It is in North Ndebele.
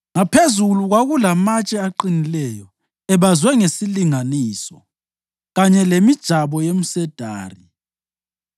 Ngaphezulu kwakulamatshe aqinileyo, ebazwe ngesilinganiso, kanye lemijabo yomsedari.